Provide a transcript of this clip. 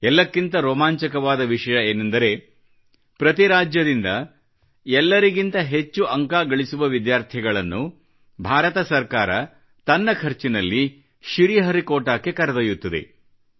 ಎಲ್ಲಕ್ಕಿಂತ ರೋಮಾಂಚಕವಾದ ವಿಷಯ ಏನೆಂದರೆ ಪ್ರತಿ ರಾಜ್ಯದಿಂದ ಎಲ್ಲರಿಗಿಂತ ಹೆಚ್ಚು ಅಂಕ ಗಳಿಸುವ ವಿದ್ಯಾರ್ಥಿಗಳನ್ನು ಭಾರತ ಸರ್ಕಾರವು ತನ್ನ ಖರ್ಚಿನಲ್ಲಿ ಶ್ರೀಹರಿಕೋಟಾಕ್ಕೆ ಕರೆದೊಯ್ಯುತ್ತದೆ